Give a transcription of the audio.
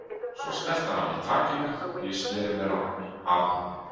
Svo sleppti hann af mér takinu og ég sneri mér að honum.